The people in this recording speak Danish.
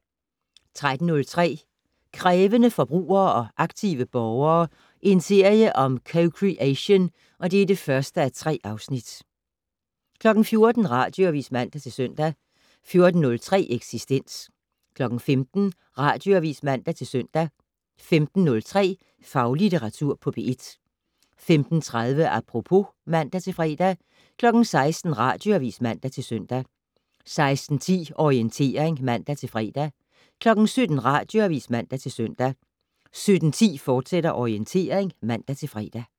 13:03: Krævende forbrugere og aktive borgere - en serie om co-creation (1:3) 14:00: Radioavis (man-søn) 14:03: Eksistens 15:00: Radioavis (man-søn) 15:03: Faglitteratur på P1 15:30: Apropos (man-fre) 16:00: Radioavis (man-søn) 16:10: Orientering (man-fre) 17:00: Radioavis (man-søn) 17:10: Orientering, fortsat (man-fre)